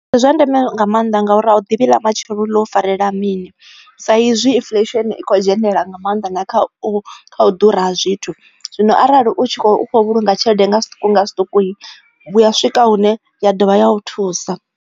Ndi zwa ndeme nga maanḓa ngauri a u ḓivhi ḽa matshelo ḽo u farela mini, sa izwi inflesheni i kho dzhenelela nga maanḓa na khau u ḓura ha zwithu zwino arali u tshi khou vhulunga tshelede nga zwiṱuku nga zwiṱuku hu a swika hune ya dovha ya u thusa.